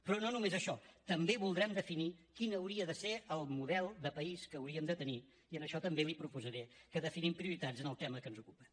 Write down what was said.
però no només això també voldrem definir quin hauria de ser el model de país que hauríem hem de tenir i en això també li proposaré que definim prioritats en el tema que ens ocupa